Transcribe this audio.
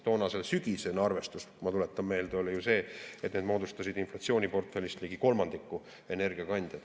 Toonane, sügisene arvestus, ma tuletan meelde, oli see, et energiakandjad moodustasid inflatsiooniportfellist ligi kolmandiku.